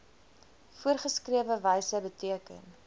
voorgeskrewe wyse beteken